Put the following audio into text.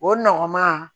O nɔgɔman